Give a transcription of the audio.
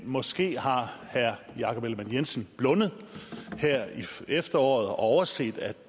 måske har herre jakob ellemann jensen blundet her i efteråret og overset at